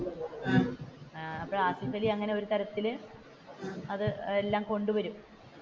ആസിഫലി അങ്ങനെ ഒരു തരത്തിൽ അത് എല്ലാം കൊണ്ടുവരും.